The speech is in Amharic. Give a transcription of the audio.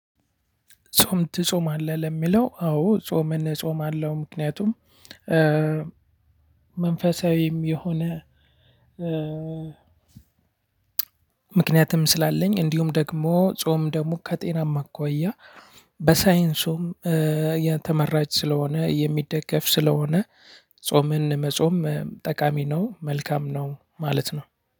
ጾም ትጾማለህ? ለሚለው አዎ ጾምን እጾማለው። ምክንያቱም መንፈሳዊም የሆነ ምክንያትም ስላለኝ። እንዲሁም ደግሞ ጾም ደግሞ ከጤናማ አኳያ በሳይንሱም ተመራጭ ስለሆነ የሚደገፍ ስለሆነ ጾምን መጾም ጠቃሚ ነው። መልካም ነው ማለት ነው።